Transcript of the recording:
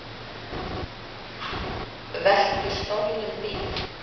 Veltu stolnum bíl